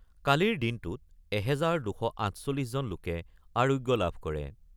কালিৰ দিনটোত এহেজাৰ ২৪৮ জন লোকে আৰোগ্য লাভ কৰে।